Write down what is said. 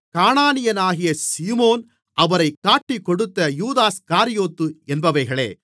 கானானியனாகிய Simon அவரைக் காட்டிக்கொடுத்த Judas Iscariot என்பவைகளே